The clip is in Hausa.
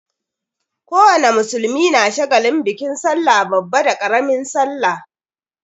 Ko wane musulmi na shagalin bikin sallah babba da ƙaramin sallah.